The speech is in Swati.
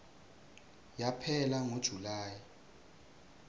yaphela ngo july